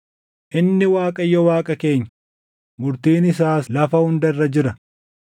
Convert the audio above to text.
Inni Waaqayyo Waaqa keenya; murtiin isaas lafa hunda irra jira.